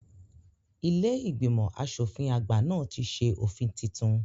Ilé ìgbìmọ̀ asòfin àgbà náà ti ṣe òfin titun